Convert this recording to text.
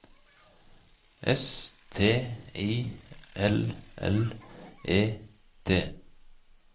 S T I L L E T